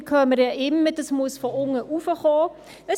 Wir hören immer wieder, dass dies von unten nach oben gehen müsse.